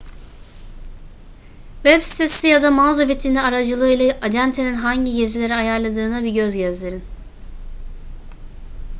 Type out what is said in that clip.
web sitesi ya da mağaza vitrini aracılığıyla acentenin hangi gezileri ayarladığına bir göz gezdirin